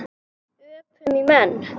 Öpum í menn.